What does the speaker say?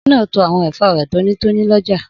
Obìnrin náà to àwọn ẹ̀fọ́ rẹ̀ tónítóní lọ́jà.